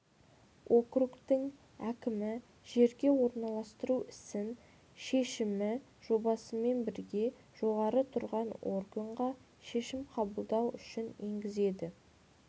округтің әкімі жерге орналастыру ісін шешім жобасымен бірге жоғары тұрған органға шешім қабылдау үшін енгізеді